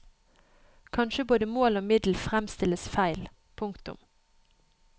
Kanskje både mål og middel fremstilles feil. punktum